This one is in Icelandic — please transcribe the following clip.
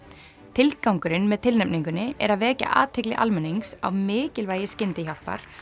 tilgangurinn með tilnefningunni er að vekja athygli almennings á mikilvægi skyndihjálpar